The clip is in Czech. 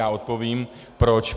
Já odpovím proč.